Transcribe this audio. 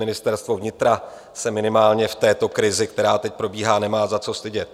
Ministerstvo vnitra se minimálně v této krizi, která teď probíhá, nemá za co stydět.